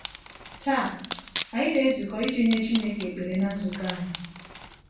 Taa, anyị na-ezukọ iji nye Chineke ekpere na nzukọ anyị.